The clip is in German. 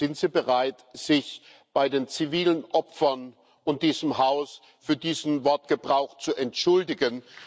Sind Sie bereit, sich bei den zivilen Opfern und diesem Haus für diesen Wortgebrauch zu entschuldigen?